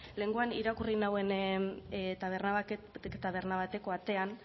lehengoan irakurri nauen taberna bateko atean